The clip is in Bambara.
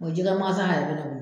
jɛgɛ magazan yɛrɛ bɛ ne bolo.